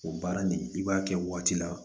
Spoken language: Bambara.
O baara nin i b'a kɛ waati la